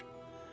Yavaş.